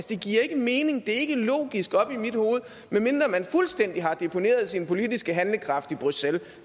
det giver ikke mening det er ikke logisk oppe i mit hoved medmindre man fuldstændig har deponeret sin politiske handlekraft i bruxelles